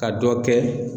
Ka dɔ kɛ